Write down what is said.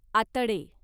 आतडे